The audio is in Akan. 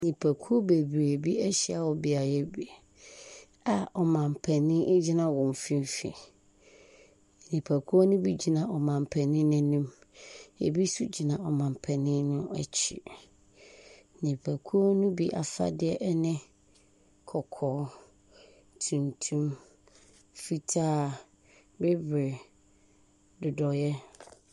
Nnipakuw bebree bi ahyia wɔ beae bi ɔman panyin egyina wɔn mfimfini. Nnipakuw ne bi gyina ɔmanpanyin n'anim. Ebi nso gyina ɔmanpanyin no akyi. Nnipakuw no bi afadeɛ ɛne kɔkɔɔ, tuntum, fitaa, bibire, dodoeɛ.